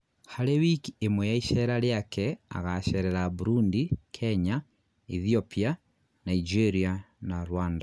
harĩ wiki ĩmwe ya icera riake agacerera Burundi, Kenya, Ethiopia, Nigeria na Rwanda